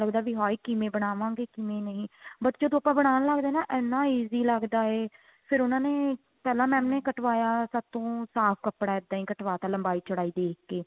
ਲੱਗਦਾ ਵੀ ਹਾਏ ਕਿਵੇਂ ਬਣਾਵਾਗੇ ਕਿਵੇਂ ਨਹੀਂ ਬੱਸ ਜਦੋਂ ਆਪਾਂ ਬਣਾਨ ਲੱਗਦੇ ਹਾਂ ਨਾ ਇੰਨਾ easy ਲੱਗਦਾ ਹੈ ਇਹ ਫੇਰ ਉਹਨਾ ਨੇ ਪਹਿਲਾਂ mam ਨੇ ਕੱਟਵਾਇਆ ਸਾਡੇ ਤੋਂ ਸਾਫ਼ ਕੱਪੜਾ ਇੱਦਾਂ ਹੀ ਕਟਵਾਤਾ ਲੰਬਾਈ ਚੋੜਾਈ ਦੇਖ ਕੇ